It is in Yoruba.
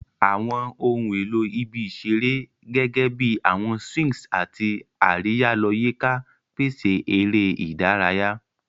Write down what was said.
Awọn ohun elo ibi isere, gẹgẹbi awọn swings ati ariya-lọ-yika, pese eré ìdárayá.